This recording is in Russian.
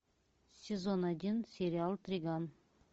сезон один сериал триган